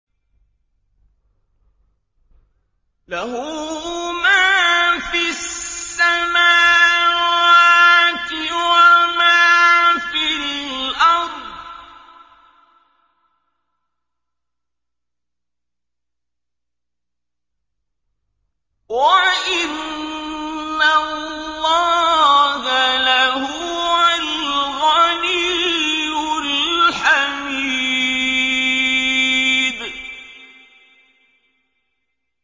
لَّهُ مَا فِي السَّمَاوَاتِ وَمَا فِي الْأَرْضِ ۗ وَإِنَّ اللَّهَ لَهُوَ الْغَنِيُّ الْحَمِيدُ